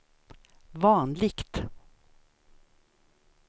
vanligt